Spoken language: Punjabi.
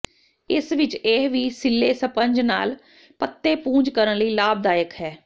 ਇਸ ਵਿਚ ਇਹ ਵੀ ਸਿੱਲ੍ਹੇ ਸਪੰਜ ਨਾਲ ਪੱਤੇ ਪੂੰਝ ਕਰਨ ਲਈ ਲਾਭਦਾਇਕ ਹੈ